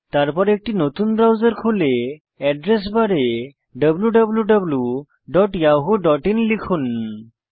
তারপর একটি নতুন ব্রাউজার খুলে এড্রেস বারে wwwyahooin লিখুন